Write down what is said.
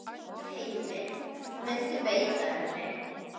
Heimir: Muntu beita henni?